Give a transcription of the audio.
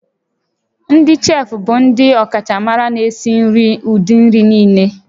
Ndị cheefụ bụ ndị ọkachamara na-esi nri ụdị nri niile